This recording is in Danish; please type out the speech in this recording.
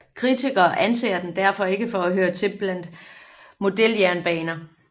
Kritikere anser dem derfor ikke for at høre til blandt modeljernbaner